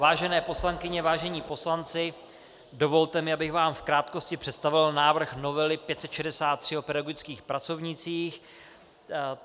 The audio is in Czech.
Vážené poslankyně, vážení poslanci, dovolte mi, abych vám v krátkosti představil návrh novely 563 o pedagogických pracovnících.